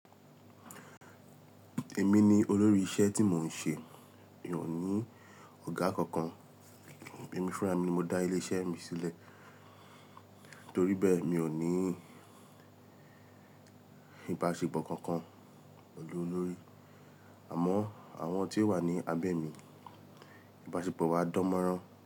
Èmi ni olórí iṣẹ́ tí mò ń ṣe. Mi ò ní ọ̀gá kankan. Èmi fúnra mi mo dá ilé-iṣẹ́ mi sílẹ̀ torí bẹ́ẹ̀ mi ò ní ìbáṣepọ̀ kankan pẹ̀lú olórí. Àmọ́ àwọn tí ó wà ní abẹ́ mi, ìbáṣepọ̀ wa dánmọ́rán.